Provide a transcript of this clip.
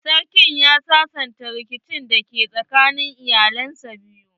Sarkin ya sasanta rikicin da ke tsakanin iyalan biyu.